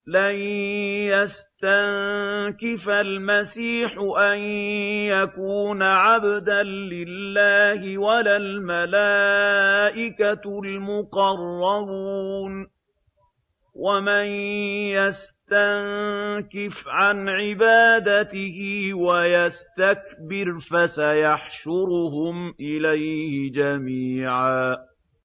لَّن يَسْتَنكِفَ الْمَسِيحُ أَن يَكُونَ عَبْدًا لِّلَّهِ وَلَا الْمَلَائِكَةُ الْمُقَرَّبُونَ ۚ وَمَن يَسْتَنكِفْ عَنْ عِبَادَتِهِ وَيَسْتَكْبِرْ فَسَيَحْشُرُهُمْ إِلَيْهِ جَمِيعًا